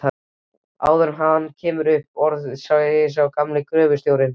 Áður en hann kemur upp orði segir gamli gröfustjórinn